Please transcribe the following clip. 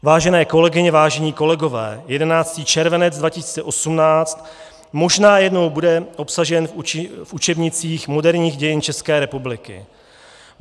Vážené kolegyně, vážení kolegové, 11. červenec 2018 možná jednou bude obsažen v učebnicích moderních dějin České republiky.